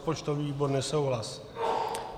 Rozpočtový výbor - nesouhlas.